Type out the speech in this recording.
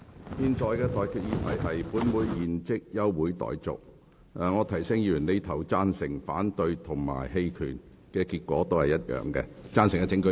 我提醒議員，不論議員所作的表決是贊成、反對還是棄權，結果同樣是休會。